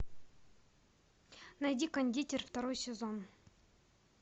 найди кондитер второй сезон